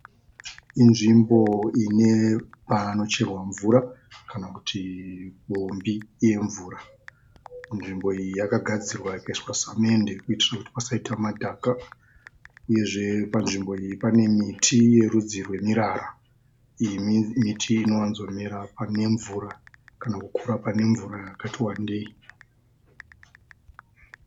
Inzvimbo ine panocherwa mvura kana kuti pombi yemvura. Nzvimbo iyi yakagadzirwa ikaiswa samende kuitira kuti pasaite madhaka uyezve panzvimbo iyi pane miti yerudzi rwemirara. Miti iyi inowanzomera pane mvura kana kukura pane mvura yakati wandei.